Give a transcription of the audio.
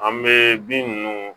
An bɛ bin ninnu